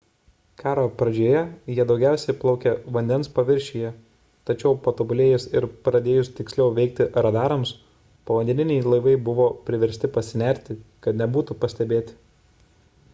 karo pradžioje jie daugiausia plaukė vandens paviršiuje tačiau patobulėjus ir pradėjus tiksliau veikti radarams povandeniniai laivai buvo priversti pasinerti kad nebūtų pastebėti